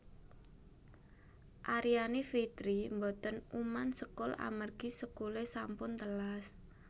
Aryani Fitri mboten uman sekul amargi sekule sampun telas